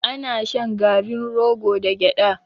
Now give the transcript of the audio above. Ana shan garin rogo da gyaɗa.